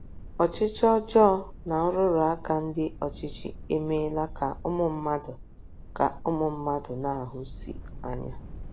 Ọchịchị ọjọọ na nrụrụ aka ndị ọchịchị emeela ka ụmụ mmadụ ka ụmụ mmadụ na - ahụsi anya.